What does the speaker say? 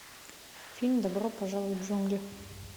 фильм добро пожаловать в джунгли